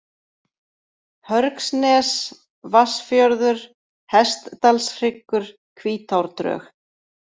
Hörgsnes, Vatnsfjörður, Hestdalshryggur, Hvítárdrög